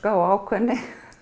og ákveðni